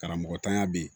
Karamɔgɔtanya bɛ yen